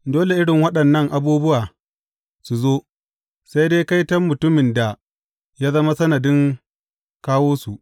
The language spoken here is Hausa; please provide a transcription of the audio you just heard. Dole irin waɗannan abubuwa su zo, sai dai kaiton mutumin da ya zama sanadin kawo su!